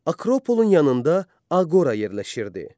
Akropolun yanında aqora yerləşirdi.